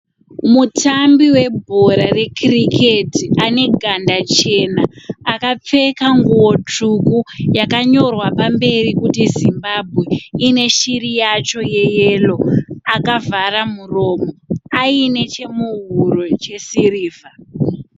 Mutambi webhora rekiriketi ane ganda chena akapfeka nguwo tsvuku yakanyorwa pamberi kuti Zimbabwe ine shiri yacho yeyero akavhara muromo ayine chemuhuro chesirivha.